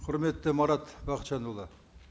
құрметті марат бақытжанұлы